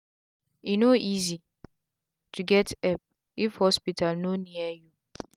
e no easi to get epp if hospital no near u